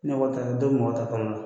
Ne b'aw taa n tɛ mɔgɔ ta kalo la.